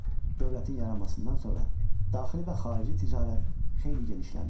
Dövlətin yaranmasından sonra daxili və xarici ticarət xeyli genişlənmişdi.